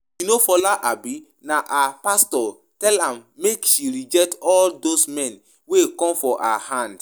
You know Fola abi? Na her pastor tell am make she reject all doz men wey come for her hand